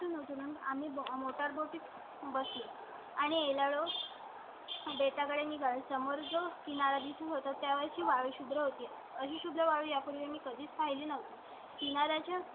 तून होतो मग आम्ही मोटर बोटी बस आणि लव बेत याकडे निघाल. समोर जो किनारीच होता त्यावेळी शुद्र होती अशुभ प्रभाव यापूर्वी मी कधीच पाहिली नव्हती ती ना त्याच्या.